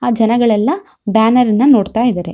ಆ ಜನಗಳೆಲ್ಲಾ ಬ್ಯಾನರ್ ಇಂದ ನೋಡತ್ತಾ ಇದಾರೆ.